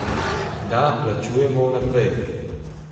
Da, plačujemo vnaprej.